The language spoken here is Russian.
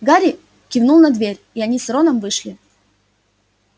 гарри кивнул на дверь и они с роном вышли